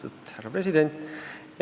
Lugupeetud härra president Rüütel!